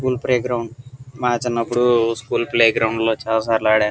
School playground మా చిన్నప్పుడు school playground లో చాల సార్లు ఆడాను.